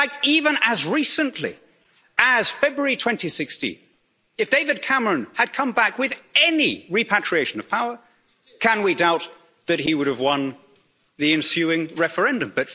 enough. In fact, even as recently as February 2016, if David Cameron had come back with any repatriation of power, can we doubt that he would have won the ensuing referendum?